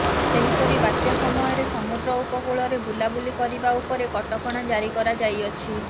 ସେହିପରି ବାତ୍ୟା ସମୟରେ ସମୁଦ୍ର ଉପକୂଳରେ ବୁଲାବୁଲି କରିବା ଉପରେ କଟକଣା ଜାରି କରାଯାଇଅଛି